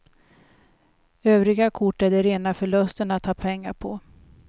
Övriga kort är det rena förlusten att ha pengar på.